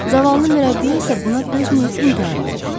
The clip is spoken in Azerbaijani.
Zavallı mürəbbiyə isə buna dözməyib intihar elədi.